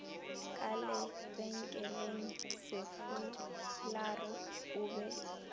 ka lebenkeleng sefularo o be